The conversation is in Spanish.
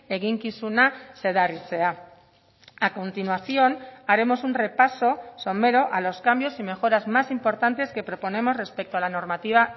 eginkizuna zedarritzea a continuación haremos un repaso somero a los cambios y mejoras más importantes que proponemos respecto a la normativa